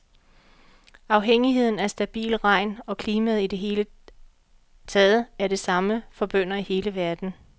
Afhængigheden af stabil regn og klimaet i det hele taget er det samme for bønder i hele verden.